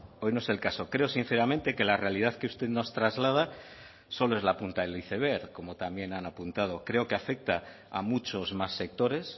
hoy no es el caso creo sinceramente que la realidad que usted nos traslada solo es la punta del iceberg como también han apuntado creo que afecta a muchos más sectores